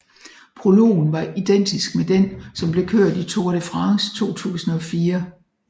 Prologen var identisk med den som blev kørt i Tour de France 2004